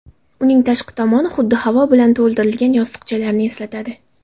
Uning tashqi tomoni xuddi havo bilan to‘ldirilgan yostiqchalarni eslatadi.